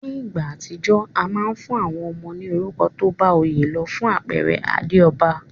Ní ìgbà àtijó, a ma n fún àwon ọmọ ní orúkọ tóbá oyé lo. Fún àpere Adéòba